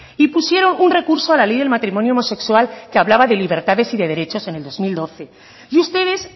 y pusieron un recurso a la ley del matrimonio homosexual que hablaba de libertades y de derechos en el dos mil doce y ustedes